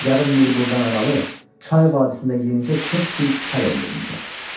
Yarım mil buradan aralı çay vadisində yenicə kök bir kəl öldürmüşəm.